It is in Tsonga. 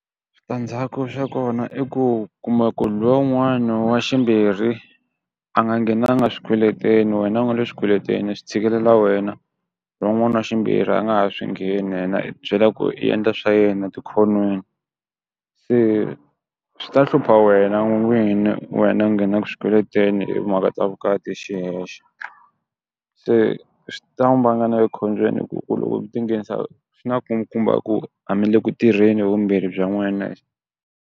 Switandzhaku swa kona i ku kuma ku lwa wun'wana wa ximbirhi a nga nghenanga swikweleteni wena u nga le swikweletini swi tshikelela wena lowun'wana wa ximbirhi a nga ha swi ngheni yena i ti byela ku i endla swa yena tikhonweni. Se swi ta hlupha wena n'wini wena u nghenaku swikweletini hi timhaka ta vukati hi xi hexe, se swi ta vanga na le khombyeni hi ku ku loko ti nghenisa swi na ku nkumba ku a mi le ku tirheni vumbirhi bya n'wehe.